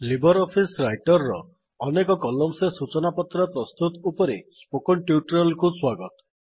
Libre office writer ର ଅନେକ columns ରେ ସୁଚନା ପତ୍ର ପ୍ରସ୍ତୁତ ଉପରେ ସ୍ପୋକନ୍ ଟ୍ୟୁଟୋରିଆଲ୍ କୁ ସ୍ୱାଗତ